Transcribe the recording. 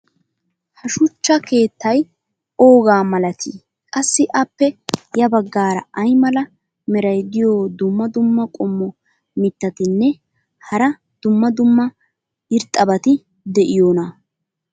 ha shuchcha keettay oogaa malatii? qassi appe ya bagaara ay mala meray diyo dumma dumma qommo mitattinne hara dumma dumma irxxabati de'iyoonaa?